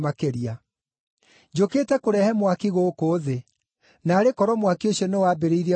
“Njũkĩte kũrehe mwaki gũkũ thĩ, naarĩ korwo mwaki ũcio nĩwambĩrĩirie gwakana!